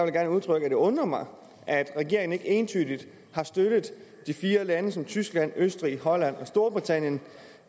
gerne udtrykke at det undrer mig at regeringen ikke entydigt støttede de fire lande tyskland østrig holland og storbritannien